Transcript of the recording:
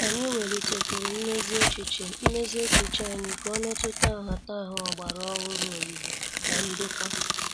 Anyị welitekwuru mmezi echiche mmezi echiche anyị ka ọ metuta nhataha ọgbara ọhụrụ oyiyi na ndoka.